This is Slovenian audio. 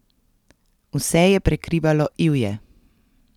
Vse je prekrivalo ivje.